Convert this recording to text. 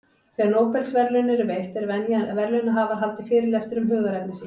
Þegar Nóbelsverðlaun eru veitt, er venja að verðlaunahafar haldi fyrirlestur um hugðarefni sín.